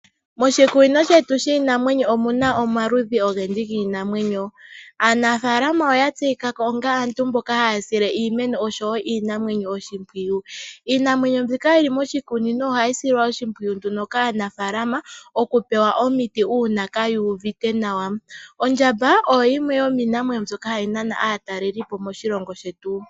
Moshikunino shetu shiinamwenyo omuna omaludhi ogendji giinamwenyo. Aanafaalama oya tseyikako onga aantu mboka haya sile iinamwenyo oshowoo iimeno oshimpwiyu . Iinamwenyo mbika yili moshikunino ohayi silwa nduno oshimpwiyu nduno kaanafaalama okupewa nduno omiti ngele kaayuuvite nawa. Ondjamba oyo yimwe yomiinamwenyo hayi nana aatalelipo moshilongo shetu.